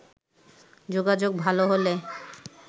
যোগাযোগ ভালো হলে